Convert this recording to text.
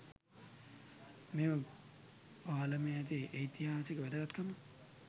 මෙම පාලමේ ඇති ඓතිහාසික වැදගත්කම